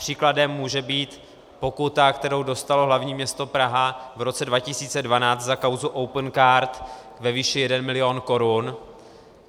Příkladem může být pokuta, kterou dostalo hlavní město Praha v roce 2012 za kauzu Opencard ve výši jeden milion korun.